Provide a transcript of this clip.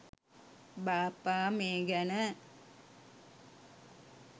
බාප්පා මේ ගැන